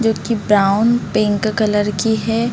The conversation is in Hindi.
जो की ब्राउन पिंक कलर की है।